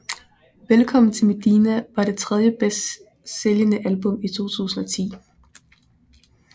Velkommen til Medina var det tredje bedst sælgende album i 2010